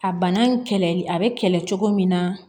A bana kɛlɛli a bɛ kɛlɛ cogo min na